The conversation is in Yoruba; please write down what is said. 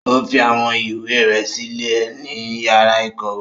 O fi awọn ìwé rẹ silẹ ni yàrà ikọwe.